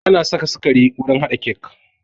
Ana saka sukari wurin haɗa kek